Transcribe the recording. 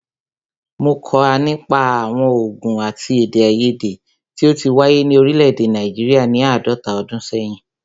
Mó kà nípa àwọn ògùn àti èdèaiyèdè tí o ti wáyé ni òrílẹ̀ èdè Nàìjíríà ni àádọ́ta ọdún sẹ́yìn.